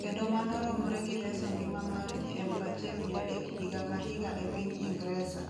kendo mano romre gi reso ngima mar ji 1,300 higa ka higa e piny Ingresa.